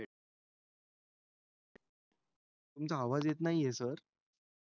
तुमचा आवाज येत नाही sir